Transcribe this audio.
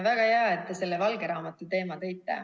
Väga hea, et te selle valge raamatu teema sisse tõite.